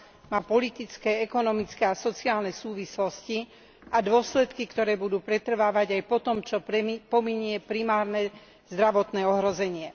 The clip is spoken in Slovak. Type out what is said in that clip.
Má politické, ekonomické a sociálne súvislosti a dôsledky, ktoré budú pretrvávať aj po tom, čo pominie primárne zdravotné ohrozenie.